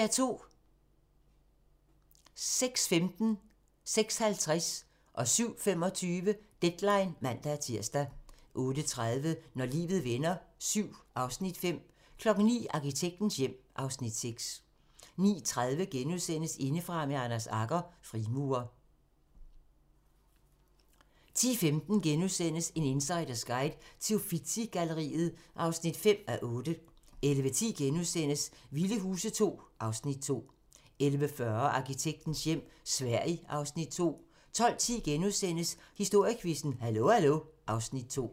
06:15: Deadline (man-tir) 06:50: Deadline (man-tir) 07:25: Deadline (man-tir) 08:30: Når livet vender VII (Afs. 5) 09:00: Arkitektens hjem (Afs. 6) 09:30: Indefra med Anders Agger - Frimurer * 10:15: En insiders guide til Uffizi-galleriet (5:8)* 11:10: Vilde Huse II (Afs. 2)* 11:40: Arkitektens hjem - Sverige (Afs. 2) 12:10: Historiequizzen: Hallo hallo (Afs. 2)*